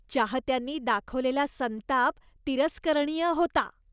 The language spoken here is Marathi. चाहत्यांनी दाखवलेला संताप तिरस्करणीय होता.